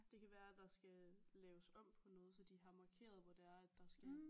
Det kan være der skal laves om på noget så de har markeret hvor det er at der skal